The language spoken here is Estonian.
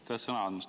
Aitäh sõna andmast!